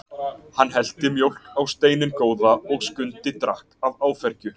Hann hellti mjólk á steininn góða og Skundi drakk af áfergju.